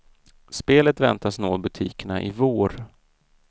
Spelet väntas nå butikerna i vår.